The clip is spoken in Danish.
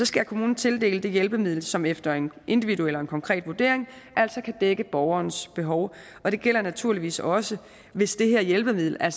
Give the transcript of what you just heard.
skal kommunen tildele det hjælpemiddel som efter en individuel og en konkret vurdering kan dække borgerens behov og det gælder naturligvis også hvis det her hjælpemiddel er